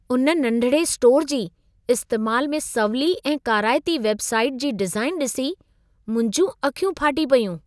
उन नंढिड़े स्टोर जी, इस्तेमाल में सवली ऐं काराइती वेबसाइट जी डिज़ाइन ॾिसी मुंहिंजूं अखियूं फाटी पयूं।